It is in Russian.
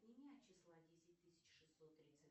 отними от числа десять тысяч шестьсот тридцать